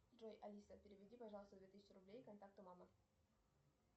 джой алиса переведи пожалуйста две тысячи рублей контакту мама